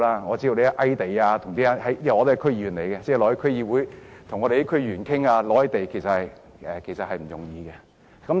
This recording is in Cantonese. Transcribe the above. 我也是區議員，他們到區議會與區議員商討覓地其實並不容易。